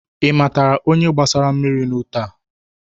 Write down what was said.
Ị matara onye gbasara mmiri n'ute a?